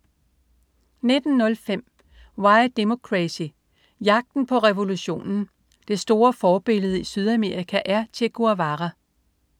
19.05 Why Democracy: Jagten på revolutionen. Det store forbillede i Sydamerika er Che Guevara